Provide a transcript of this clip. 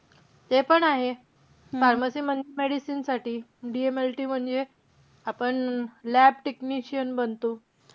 ते पण आहे. pharmacy म्हणजे medicine साठी. DMLT म्हणजे, आपण lab technician बनतो.